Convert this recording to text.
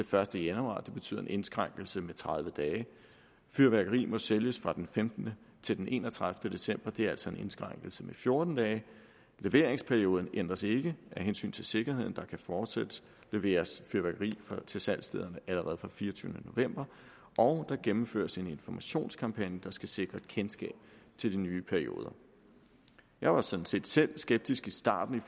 første januar det betyder en indskrænkelse med tredive dage fyrværkeri må sælges fra den femtende til den enogtredivete december det er altså en indskrænkelse med fjorten dage leveringsperioden ændres ikke af hensyn til sikkerheden der kan fortsat leveres fyrværkeri til salgsstederne allerede fra den fireogtyvende november og der gennemføres en informationskampagne der skal sikre kendskab til de nye perioder jeg var sådan set selv skeptisk i starten